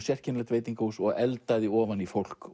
sérkennilegt veitingahús og eldaði ofan í fólk